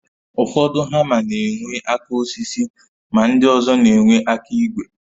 Ụfọdụ hama na enwe aka osisi ma ndị ọzọ na-enwe aka ígwè